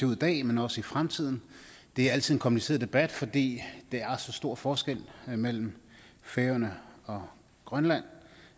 ud i dag men også i fremtiden det er altid en kompliceret debat fordi der er så stor forskel mellem færøerne og grønland